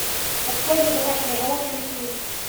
открой мне домашние животные на тв